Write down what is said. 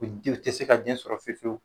U de u tɛ se ka den sɔrɔ fiyewu fiyewu